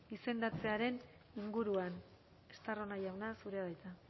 izendatzearen inguruan estarrona jauna zurea da hitza